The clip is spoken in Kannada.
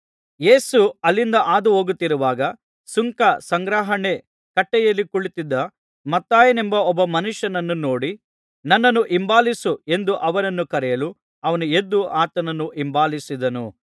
ಯೇಸು ಅಲ್ಲಿಂದ ಹಾದು ಹೋಗುತ್ತಿರುವಾಗ ಸುಂಕ ಸಂಗ್ರಹಣೆ ಕಟ್ಟೆಯಲ್ಲಿ ಕುಳಿತಿದ್ದ ಮತ್ತಾಯನೆಂಬ ಒಬ್ಬ ಮನುಷ್ಯನನ್ನು ನೋಡಿ ನನ್ನನ್ನು ಹಿಂಬಾಲಿಸು ಎಂದು ಅವನನ್ನು ಕರೆಯಲು ಅವನು ಎದ್ದು ಆತನನ್ನು ಹಿಂಬಾಲಿಸಿದನು